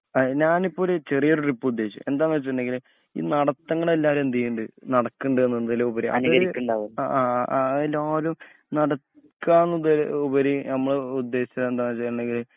അയി ഞാനിപ്പൊരു ചെറിയൊരു ട്രിപ്പ് ഉദ്ദേശിച് എന്താന്നുവെച്ചിട്ടെങ്കില് ഈ നടത്തങ്ങള് എല്ലാവരുയെന്തുചെയ്യനുണ്ട് നടക്കുണ്ട് എന്നതിലുപരി ആ ആ എല്ലാരുംനടക്കാ നടക്കന്നുപരി നമ്മള് ഉദ്ദേശിച്ച എന്താ ചേയ്യേണ്ടെങ്കില്